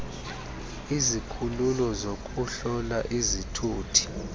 izikhululo zokuhlola izithuthi